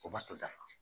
O ma to dafa